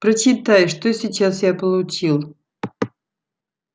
прочитай что сейчас я получил